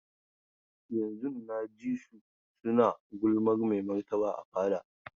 Yanzun na ji su suna gulmar maimarta a fada.